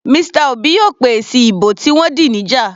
Mr Obi yóò pé èsì ìbò tí wọ́n dì níjà.